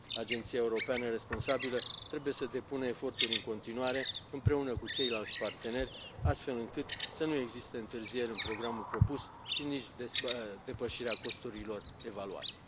Agenția europeană responsabilă trebuie să depună eforturi în continuare, împreună cu ceilalți parteneri, astfel încât să nu existe întârzieri în programul propus și nici depășirea costurilor evaluate.